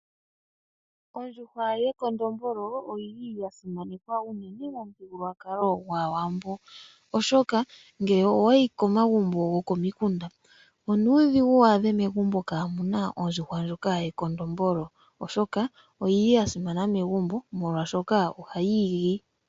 Ondjuhwa yekondombolo oyili yasimanekwa unene momuthigululwakalo gwaawambo, oshoka ngele owayi komagbo gokomikunda, onuudhigu wu adhe megumbo kaamuna ondjuhwa ndjoka yekondombolo. Ondjuhwa ndjono oyili yasimana oshoka ohayi igi.